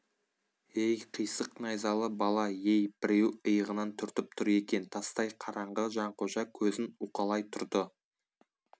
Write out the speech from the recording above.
ей қисық найзалы бала ей біреу иығынан түртіп тұр екен тастай қараңғы жанқожа көзін уқалай тұрды